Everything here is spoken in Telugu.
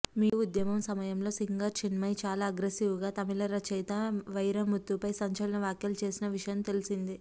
మీటూ ఉద్యమం సమయంలో సింగర్ చిన్మయి చాలా అగ్రసివ్గా తమిళ రచయిత వైరముత్తుపై సంచలన వ్యాఖ్యలు చేసిన విషయం తెల్సిందే